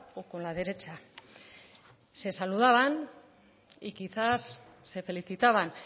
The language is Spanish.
o con la derecha se saludaban y quizás se felicitaban